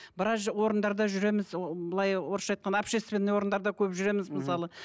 біраз орындарда жүреміз ы былай орысша айтқанда общественный орындарда көп жүреміз мысалы